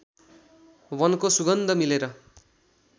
वनको सुगन्ध मिलेर